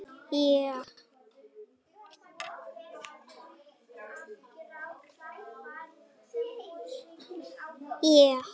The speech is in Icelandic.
Þrátt fyrir úrslitin hingað til þá hef ég elskað að spila leikina.